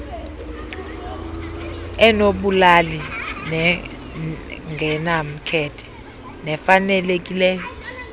enobulali nengenamkhethe nefanelekileyo